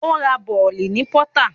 Ó ra bọ̀lì ní pọtá